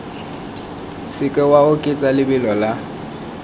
seke wa oketsa lebelo la